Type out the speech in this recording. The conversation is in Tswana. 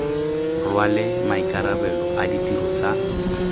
rwale maikarabelo a ditiro tsa